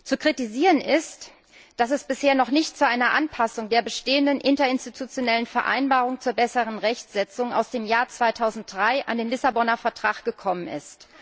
Zu kritisieren ist, dass es bisher noch nicht zu einer Anpassung der bestehenden interinstitutionellen Vereinbarung zur besseren Rechtsetzung aus dem Jahr 2003 an den Vertrag von Lissabon gekommen ist.